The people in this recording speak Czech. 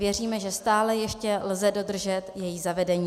Věříme, že stále ještě lze dodržet její zavedení.